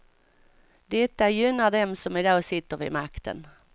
Detta gynnar dem som i dag sitter vid makten.